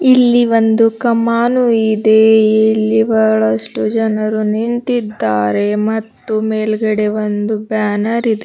ಇಲ್ಲಿ ಒಂದು ಕಮ್ಮಾನು ಇದೆ ಇಲ್ಲಿ ಬಹಳಷ್ಟು ಜನರು ನಿಂತಿದ್ದಾರೆ ಮತ್ತು ಮೇಲ್ಗಡೆ ಒಂದು ಬ್ಯಾನರ್ ಇದೆ.